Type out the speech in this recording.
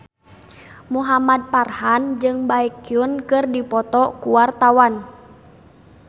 Muhamad Farhan jeung Baekhyun keur dipoto ku wartawan